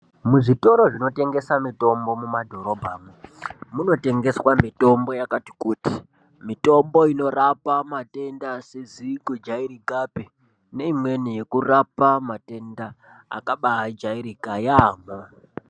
Muzvitoro zvinotengese mitombo mumadhorobhamo munotengeswa mitombo yakati kuti mitombo inorapa matenda asizi kujairikapi neimweni yekurapa matenda akabajairika yaamho.